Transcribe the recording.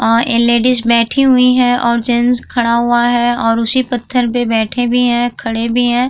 और लेडीज बैठी हुई है और जेंट्स खड़ा हुआ हैे और उसी पत्थर पे बैठे भी हैं और खड़े भी हैं।